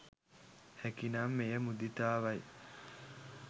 හැකි නම් එය මුදිතාවයි.